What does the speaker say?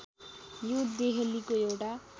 यो देहलीको एउटा